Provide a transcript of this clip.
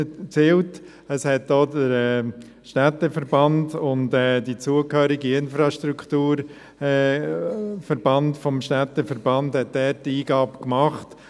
Auch der Städteverband und der zum Städteverband zugehörige Infrastrukturverband machte dort eine Eingabe.